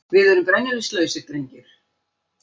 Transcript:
Við erum brennivínslausir, drengur.